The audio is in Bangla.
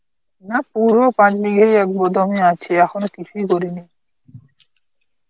না পুরো পারিনি এই এক গুদামই আছি এখনো কিছুই করিনি